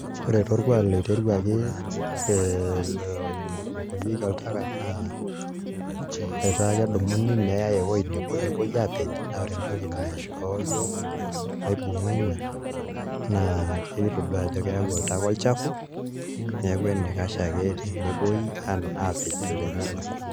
Ore apa orkuak loiteruaki oibukorieki oltaka naa etaa kedumuni neyaai ewuei nebo nepuoi aapej naa ore entoki naishoo iyiook maibung'a ina naa kakitodua ajo keyau oltaka olchafu neeku enaikash ake enepuoi aapejoo tenelakua.